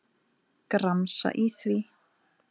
Gramsa í því.